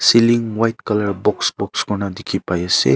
cealing white colour box box koina dikhi pai ase.